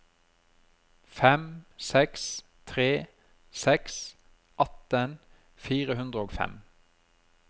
fem seks tre seks atten fire hundre og fem